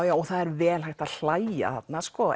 já það er vel hægt að hlægja þarna